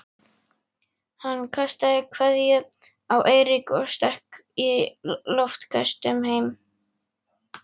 Hann kastaði kveðju á Eirík og stökk í loftköstum heim.